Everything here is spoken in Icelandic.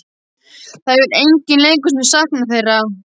Það hefur enginn í leikhúsinu saknað þeirra.